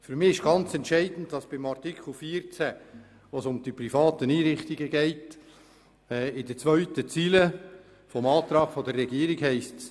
Für mich ist entscheidend, dass bei Artikel 14, wo es um die privaten Einrichtungen geht, in der zweiten Zeile des Antrags der Regierung steht: